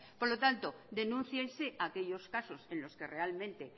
por lo tanto denúnciese aquellos casos en los que realmente